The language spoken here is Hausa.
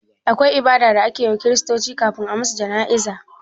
Akwai ibada da ake wa kiristoci kafin a musu jana'iza?